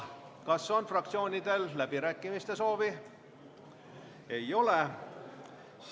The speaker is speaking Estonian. Kas fraktsioonidel on läbirääkimiste soovi?